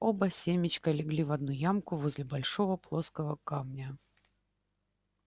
оба семечка легли в одну ямку возле большого плоского камня